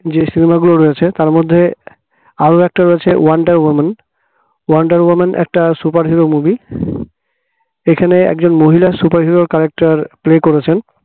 যে cinema গুলো রয়েছে তার মধ্যে আরো একটা রয়েছে wonder woman wonder woman একটা superhero movie যেখানে একজন মহিলা superhero character play করেছেন